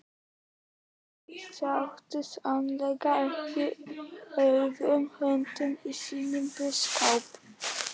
Þau sátu sannarlega ekki auðum höndum í sínum búskap.